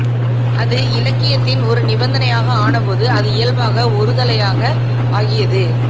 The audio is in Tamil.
அது இலக்கியத்தின் ஒரு நிபந்தனையாக ஆனபோது இயல்பாக அது ஒரு தளையாக ஆகியது